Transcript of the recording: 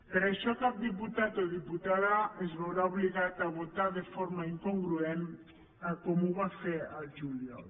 per això cap diputat o diputada es veurà obligat a votar de forma incongruent a com ho va fer al juliol